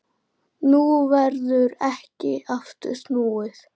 Nú verður ekki aftur snúið.